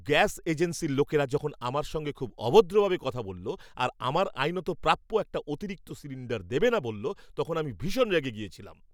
Gas এজেন্সির লোকেরা যখন আমার সঙ্গে খুব অভদ্রভাবে কথা বলল আর আমার আইনত প্রাপ্য একটা অতিরিক্ত সিলিন্ডার দেবেনা বলল, তখন আমি ভীষণ রেগে গিয়েছিলাম।